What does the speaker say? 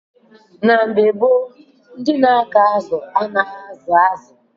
Ndi na-akụ azụ n'Igbo gboo abụghi ndi ugbo azu; ha bu ndi na egbu azu nani maka oriri na orire.